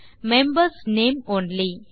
members name only